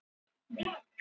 Ljósatröð